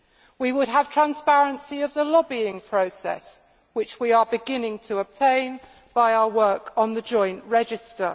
We would have transparency of the lobbying process, which we are beginning to obtain by our work on the joint register.